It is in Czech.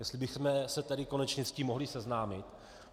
Jestli bychom se tady konečně s tím mohli seznámit.